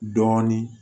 Dɔɔnin